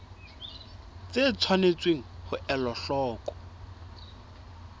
tse tshwanetseng ho elwa hloko